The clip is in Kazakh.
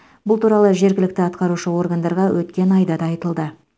бұл туралы жергілікті атқарушы органдарға өткен айда да айтылды